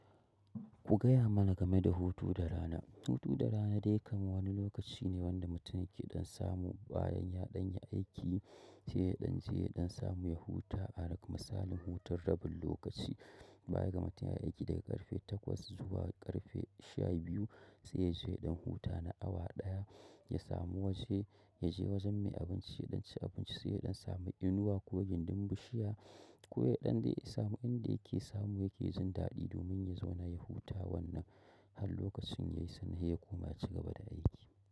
Ku gaya mana game da hutu da rana. Hutu da rana dai kam wani lokaci ne wanda mutum yake dan samu bayan ya dan yi aiki sai ya dan je ya samu ya huta. Ara kam misalin hutun rabin lokaci bayan ga mutum ya yi aiki daga ƙarfe takwas zuwa ƙarfe sha biyu sai ya je ya ɗan huta na awa ɗaya ya samu waje ya je wajen mai abinci ya ɗan ci abinci sai ya ɗan samu inuwa ko gindin bushiya ko ya ɗan dai samu inda yake samu yake jin daɗi domin ya zauna ya huta wannan har lokacin ya yi sannan ya koma ya ci gaba da aiki.